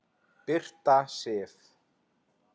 Birta Sif.